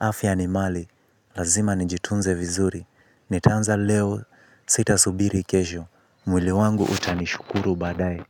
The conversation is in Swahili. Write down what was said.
Afya ni mali. Lazima nijitunze vizuri. Nitaanza leo sita subiri kesho. Mwili wangu utanishukuru badaye.